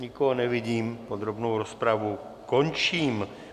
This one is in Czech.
Nikoho nevidím, podrobnou rozpravu končím.